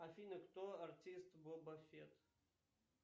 афина кто артист боба фетт